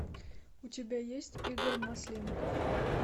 у тебя есть игорь масленников